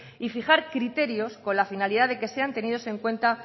y fijar criterios con la finalidad de que sean tenidos en cuenta